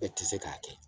E tɛ se k'a kɛ